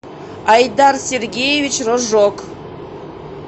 айдар сергеевич рожок